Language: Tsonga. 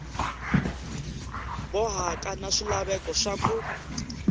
bohaka na swilaveko swa ku